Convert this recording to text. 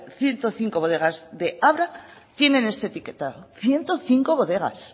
ciento cinco bodegas de abra tienen este etiquetado ciento cinco bodegas